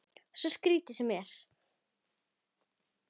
Svo skrítið sem það er.